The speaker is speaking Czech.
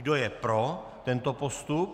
Kdo je pro tento postup?